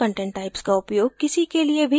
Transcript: हम content types का उपयोग किसी के लिए भी कर सकते हैं